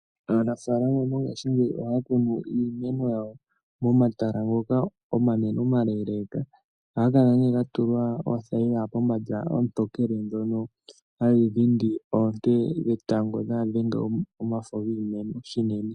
Aanafalama mongashi ngeyi ohakunu iimeno yawo momatala ngoka omanene omaleleka, ohangakala ne gatulwa othayila pombanda otokele dhono hadhidhindi oonte dhetango dhadhenge omafo ngiimeno shinene.